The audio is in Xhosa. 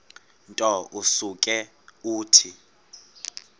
nto usuke uthi